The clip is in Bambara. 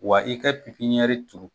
Wa i ka pipiniyɛri turu